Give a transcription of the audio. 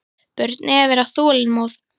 Börn eiga að vera þolinmóð.